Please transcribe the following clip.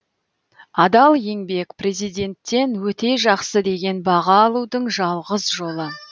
адал еңбек президенттен өте жақсы деген баға алудың жалғыз жолы